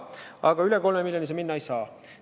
Aga üle 3 miljoni euro see minna ei saa.